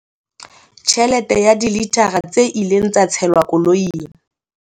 Tjhelete ya dilithara tse ileng tsa tshelwa koloing,